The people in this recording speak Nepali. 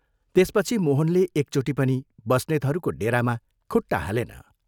त्यसपछि मोहनले एकचोटि पनि बस्नेतहरूको डेरामा खुट्टा हालेन।